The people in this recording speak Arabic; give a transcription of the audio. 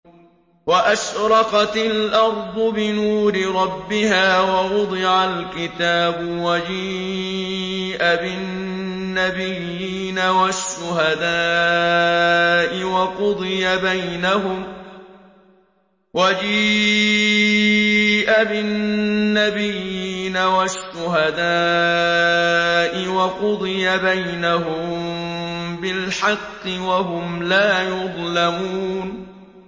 وَأَشْرَقَتِ الْأَرْضُ بِنُورِ رَبِّهَا وَوُضِعَ الْكِتَابُ وَجِيءَ بِالنَّبِيِّينَ وَالشُّهَدَاءِ وَقُضِيَ بَيْنَهُم بِالْحَقِّ وَهُمْ لَا يُظْلَمُونَ